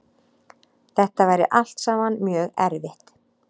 Þetta væri allt saman mjög erfitt